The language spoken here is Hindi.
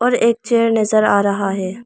एक चेयर नजर आ रहा है।